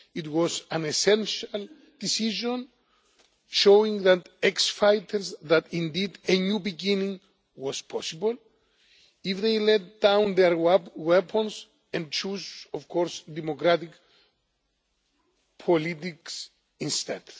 It was an essential decision, showing to the ex fighters that indeed a new beginning was possible if they laid down their weapons and chose, of course, democratic politics instead.